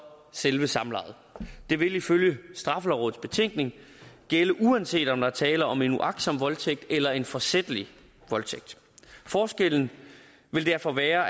selve samlejet det vil ifølge straffelovrådets betænkning gælde uanset om der er tale om en uagtsom voldtægt eller en forsætlig voldtægt forskellen vil derfor være